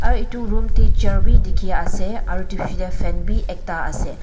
aru etu room te chair bi dikhi ase aru etu piche te fan bi ekta ase.